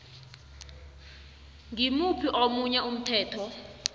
ngimuphi omunye umthetho